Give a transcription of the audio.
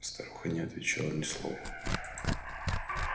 старуха не отвечала ни слова